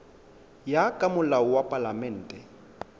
ya ka molao wa palamente